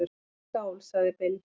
"""Skál, sagði Bill."""